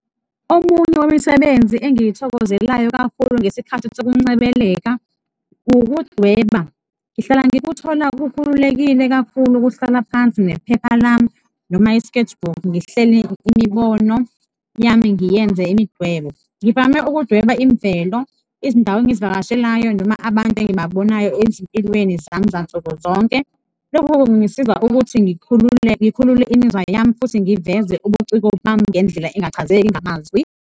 Omunye wemisebenzi engiyithokozelayo kakhulu ngesikhathi sokuncebeleka ukudweba, ngihlala ngikuthola kukhulekile kakhulu ukuhlala phansi nephepha lami noma i-sketchbook, ngihlele imibono yami ngiyiyenze imidwebo. Ngivame ukudweba imvelo, ezindawo engizivakashelayo noma abantu engibabonayo ezimpilweni zami zansuku zonke, lokho kungisiza ukuthi ngikhulule imizwa yami futhi ngiveze ubuciko bami ngendlela engachazeki ngamazwi.